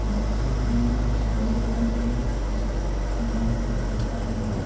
बच्चों के लिए कुछ बैट बॉल भी रखा हुआ है।